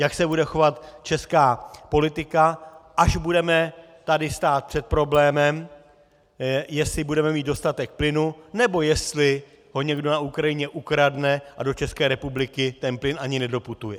Jak se bude chovat česká politika, až budeme tady stát před problémem, jestli budeme mít dostatek plynu, nebo jestli ho někdo na Ukrajině ukradne a do České republiky ten plyn ani nedoputuje?